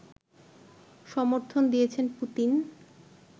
সমর্থন দিয়েছেন পুতিন